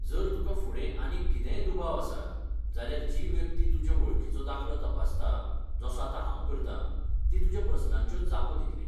जर तुका फुडें आनीक कितेंय दुबाव आसात, जाल्यार जी व्यक्ती तुजे वळखीचो दाखलो तपासता, जसो आतां हांव करतां, ती तुज्या प्रस्नांच्यो जापो दितली.